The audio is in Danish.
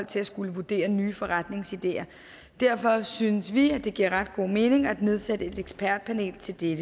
til at skulle vurdere nye forretningsideer derfor synes vi det giver meget god mening at nedsætte et ekspertpanel til dette